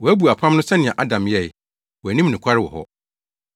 Wɔabu apam no so sɛnea Adam yɛe. Wɔanni me nokware wɔ hɔ.